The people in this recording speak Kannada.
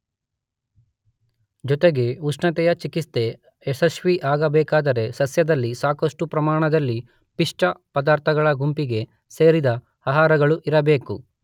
ಜೊತೆಗೆ ಉಷ್ಣತೆಯ ಚಿಕಿತ್ಸೆ ಯಶಸ್ವಿಯಾಗಬೇಕಾದರೆ ಸಸ್ಯದಲ್ಲಿ ಸಾಕಷ್ಟು ಪ್ರಮಾಣದಲ್ಲಿ ಪಿಷ್ಟ ಪದಾರ್ಥಗಳ ಗುಂಪಿಗೆ ಸೇರಿದ ಆಹಾರಗಳೂ ಇರಬೇಕು.